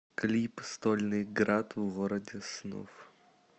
клип стольный градъ в городе снов